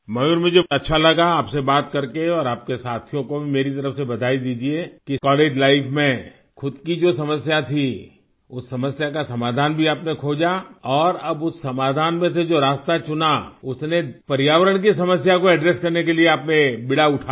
मयूर मुझे बहुत अच्छा लगा आपसे बात करके और आपके साथियों को भी मेरी तरफ से बधाई दीजिये कि कॉलेज लाइफ में खुद की जो समस्या थी उस समस्या का समाधान भी आपने खोजा और अब उस समाधान में से जो रास्ता चुना उसने पर्यावरण की समस्या को एड्रेस करने के लिए आपने बीड़ा उठाया